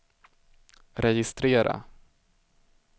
registrera